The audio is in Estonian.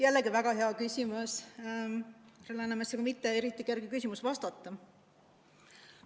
Jällegi väga hea küsimus, samas sellele pole mitte kerge vastata.